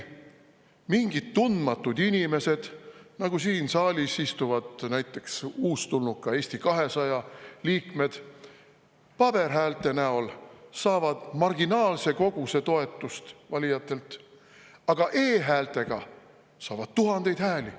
Mingid tundmatud inimesed, nagu näiteks siin saalis istuvad uustulnuka, Eesti 200 liikmed, paberhäälte näol saavad marginaalse koguse toetust valijatelt, aga e-häältega saavad nad ühtäkki tuhandeid hääli.